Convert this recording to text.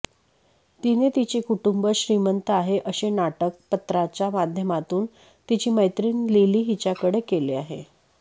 तिने तिचे कुटुंब श्रीमंत आहे असे नाटक पत्राच्या माध्यमातून तिची मैत्रीण लिली हिच्याकडे केले आहे